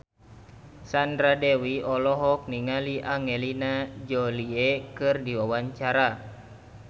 Sandra Dewi olohok ningali Angelina Jolie keur diwawancara